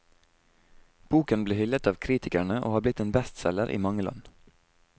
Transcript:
Boken ble hyllet av kritikerne og har blitt en bestselger i mange land.